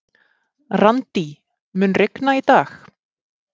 Randí, mun rigna í dag?